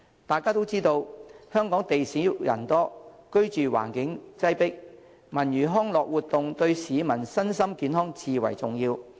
大家也知道，香港地少人多，居住環境擠迫，文娛康樂活動對市民身心健康至為重要。